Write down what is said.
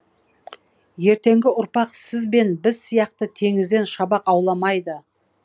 ертеңгі ұрпақ сіз бен біз сияқты теңізден шабақ ауламайды